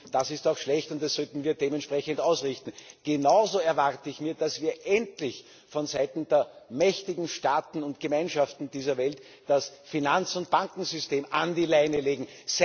Das ist auch schlecht und das sollten wir dementsprechend ausrichten. Genauso erwarte ich, dass wir endlich vonseiten der mächtigen Staaten und Gemeinschaften dieser Welt das Finanz und Bankensystem an die Leine legen.